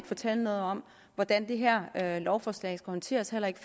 fortælle noget om hvordan det her her lovforslag skal orienteres heller ikke